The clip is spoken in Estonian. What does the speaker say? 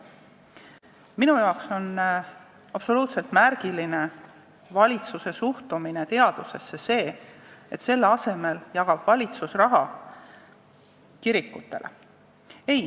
Minu jaoks on absoluutselt märgiline valitsuse suhtumine teadusesse: selle asemel jagab valitsus raha kirikutele.